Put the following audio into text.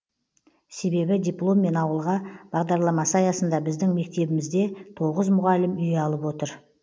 себебі дипломмен ауылға бағдарламасы аясында біздің мектебімізде тоғыз мұғалім үй алып отыр